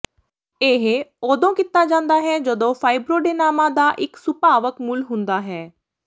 ਇਹ ਉਦੋਂ ਕੀਤਾ ਜਾਂਦਾ ਹੈ ਜਦੋਂ ਫਾਈਬਰੋਡੇਨਾਮਾ ਦਾ ਇੱਕ ਸੁਭਾਵਕ ਮੂਲ ਹੁੰਦਾ ਹੈ